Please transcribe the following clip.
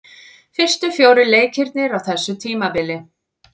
Fyrstu fjórir leikirnir á þessu tímabili.